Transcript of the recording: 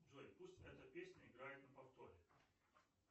джой пусть эта песня играет на повторе